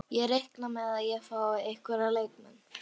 Ég reikna með að ég fái einhverja leikmenn.